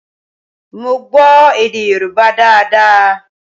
Mo gbọ́ èdè Yoruba daada